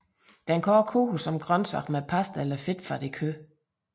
Den kan også koges som grøntsag med pasta eller fedtfattigt kød